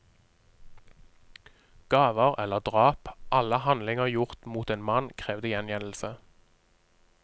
Gaver eller drap, alle handlinger gjort mot en mann krevde gjengjeldelse.